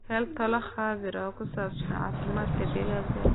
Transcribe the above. Hel talo khabiir oo ku saabsan caafimaadka digaaggaaga.